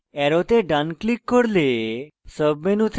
অ্যারোতে ডান click করলে সাব menu থেকে